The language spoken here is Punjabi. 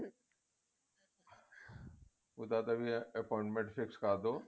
ਉਹਦਾ ਨਾਲ ਵੀ appointment fix ਕਰ ਦਿਓ